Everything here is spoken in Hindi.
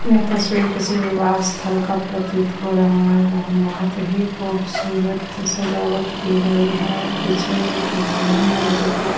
यह तस्वीर किसी विवाह स्थल का प्रतीत हो रहा है जहाँ बहुत ही खूबसूरत सजावट की गई है पीछे एक भवन है जो की--